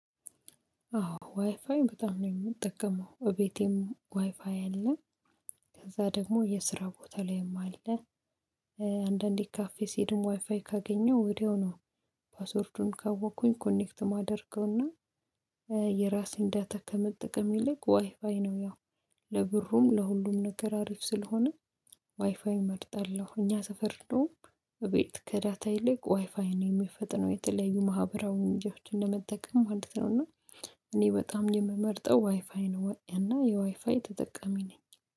አዎ ዋይፋዬን በጣም ነው የምጠቀመው ቤቴም ዋይፋዬ አለ። ከዛ ደግሞ የስራ ቦታ ላይም አለ። አንዳንዴ ካፌ ስሄድም ዋይፋይ ካገኘው ወዲያው ነው። ፓስወርዱን ካወቅኩኝ ኮኔክት ማደርገውና። የራሴን ዳታ ከመጠቀም ይልቅ ዋይ ፋይ ነው። ያው ለብሩም ለሁሉም ነገር አሪፍ ስለሆነ ዋይፋይ እመርጣለሁ። እኛ ሰፈር ነው። እቤት ከዳታ ይልቅ ዋይፋይ ነው የሚፈጥነው። የተለያዩ ማህበራዊ ምክንያቶችን ለመጠቀም ማለት ነው። እና እኔ በጣም የምመርጠው ዋይፋይ ነው። እና የዋይፋይ ተጠቃሚ ነኝ።